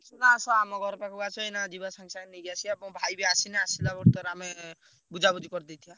ଆସୁନ ଆସ ଆମ ଘର ପାଖକୁ ଆସ ଏଇନା ଯିବା ସାଙ୍ଗେ ସାଙ୍ଗେ ନେଇକି ଆସିଆ ମୋ ଭାଇ ବି ଆସିନି ଆସିଲା ଭିତରେ ଆମେ ବୁଝାବୁଝି କରିଦେଇଥିବା।